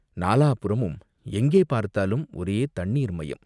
நாலாபுறமும் எங்கே பார்த்தாலும் ஒரே தண்ணீர் மயம்.